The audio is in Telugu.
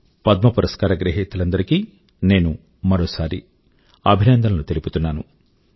పద్మ పురస్కార గ్రహీతలందరి కీ నేను మరోసారి అభినందనలు తెలుపుతున్నాను